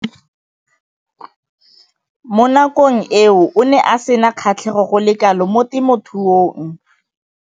Mo nakong eo o ne a sena kgatlhego go le kalo mo temothuong.